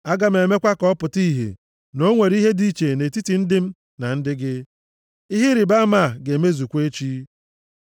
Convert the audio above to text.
Aga m emekwa ka ọ pụta ìhè na o nwere ihe dị iche nʼetiti ndị m na ndị gị. Ihe ịrịbama a ga-emezukwa echi.’ ”